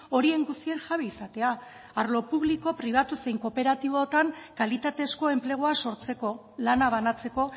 horien guztien jabe izatea arlo publiko pribatu zein kooperatiboetan kalitatezko enplegua sortzeko lana banatzeko